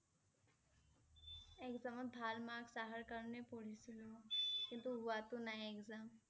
Exam ত ভাল marks অহাৰ কাৰণেই পঢ়িছিলোঁ কিন্তু হোৱা টো নাই exam